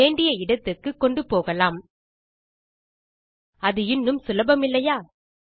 வேண்டிய இடத்துக்கு கொண்டும் போகலாம் அது இன்னும் சுலபமில்லையா